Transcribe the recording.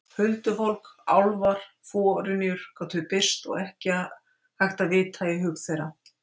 Huldufólk, álfar, forynjur gátu birst og ekki hægt að vita í hug þeirra.